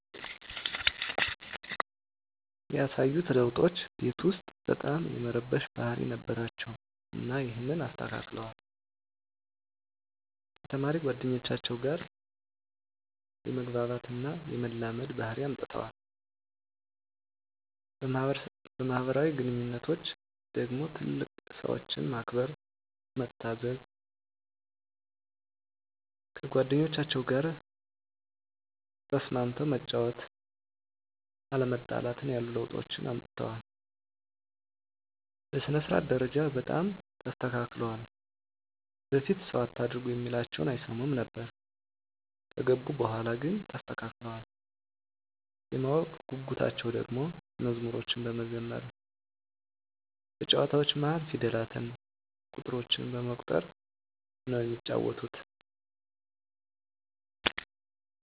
ያሳዩት ለዉጦች ቤት ዉስጥ በጣም የመረበሽ ባህሪ ነበራቸዉ እና ይሀንን አስተካክለዋል፣ ከተማሪ ጓደኞቻቸዉ ጋ የመግባባት እና የመላመድ ባህሪ አምጠዋል። በማህበራዊ ግንኙነቶች ደግሞ ትልልቅ ሰዎችን ማክበር፣ መታዘዝ፣ ከጓደኞቻቸዉ ጋ ተስማምተህ መጫወት፣ አለመጣላትን ያሉ ለዉጦችን አምጥተዋል። በሥነ-ስርዓት ደረጃ በጣም ተስተካክለዋል በፊት ሰዉ አታርጉ እሚላቸዉን አይሰሙም ነበር ከገቡ በኋላ ግን ተስተካክለዋል። የማወቅ ጉጉታቸዉ ደሞ መዝሙሮችን በመዘመር በጨዋታዎች መሀል ፊደላትን፣ ቁጥሮችን በመቁጠር ነዉ እሚጫወቱት።